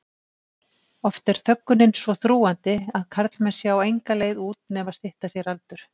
Oft er þöggunin svo þrúgandi að karlmenn sjá enga leið út nema stytta sér aldur.